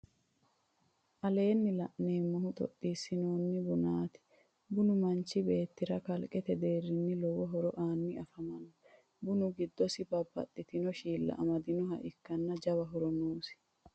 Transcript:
aleenni la'neemehu xoxxisaminno bunaati. bunu manchi beetira kalqete deerinni lowo horo aanni afamanno. bunu giddosi babbaxxitinno shiilla amadinnoha ikkanna jawa horo noosi.